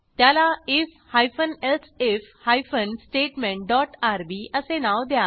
त्याला IF hyphen elsif hyphen statement dot RB असे नाव द्या